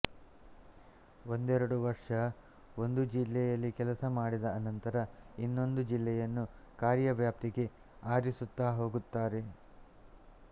ಒಂದೆರಡು ವರ್ಷ ಒಂದು ಜಿಲ್ಲೆಯಲ್ಲಿ ಕೆಲಸ ಮಾಡಿದ ಅನಂತರ ಇನ್ನೊಂದು ಜಿಲ್ಲೆಯನ್ನು ಕಾರ್ಯವ್ಯಾಪ್ತಿಗೆ ಆರಿಸುತ್ತ ಹೋಗುತ್ತಾರೆ